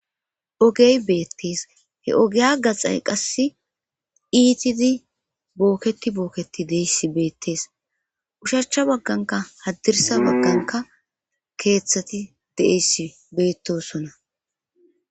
ogey beettes he ogeya gaxay qass iitidi bookketi bookketi deeissi beettees ushachcha bagganka haddirsa bagganka keeththati deeissi beettosona